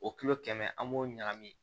O kilo kɛmɛ an b'o ɲagami